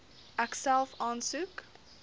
ek self aansoek